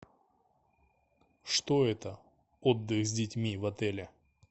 что это отдых с детьми в отеле